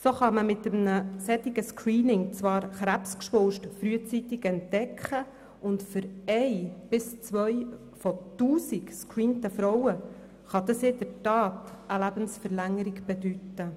So kann man mit einem solchen Screening zwar Krebsgeschwulste frühzeitig entdecken, und für eine bis zwei von 1000 gescreenten Frauen kann das in der Tat eine Lebensverlängerung bedeuten.